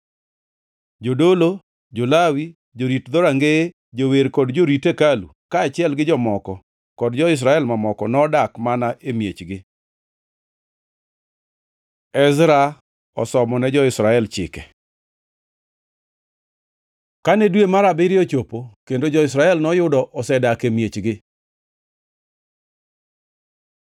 Jodolo, jo-Lawi, jorit dhorangeye, jower kod jotij hekalu, kaachiel gi jomoko kod jo-Israel mamoko, nodak mana e miechgi. Ezra osomone jo-Israel Chike Kane dwe mar abiriyo ochopo kendo jo-Israel noyudo osedak e miechgi,